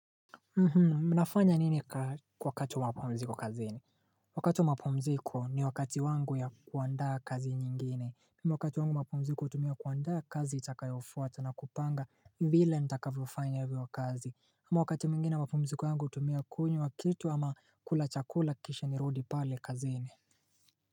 Mnafanya nini kwa wakati wa mapumziko kazini? Wakati wa mapumziko, ni wakati wangu ya kuandaa kazi nyingine. Wakati wangu wa mapumziko hutumia kuandaa kazi itakayofuata, na kupanga vile nitakavyofanya hivyo kazi. Ama wakati mwingine mapumziko wangu hutumia kunywa kitu, ama kula chakula kisha nirudi pale kazini.